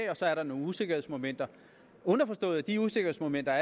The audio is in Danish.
og så er der nogle usikkerhedsmomenter underforstået at de usikkerhedsmomenter